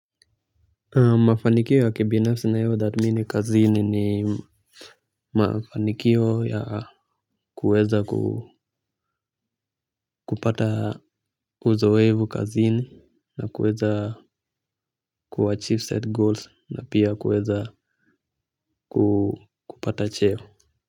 Mafanikio ya kibinafsi ninayotathmini kazini ni mafanikio ya kuweza kupata uzoefu kazini na kuweza kuachive set goals na pia kuweza kupata cheo.